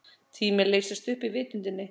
Tíminn leystist upp í vitundinni.